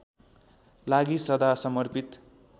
लागि सदा समर्पित